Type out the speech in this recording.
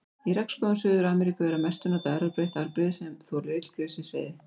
Í regnskógum Suður-Ameríku er að mestu notað erfðabreytt afbrigði sem þolir illgresiseyði.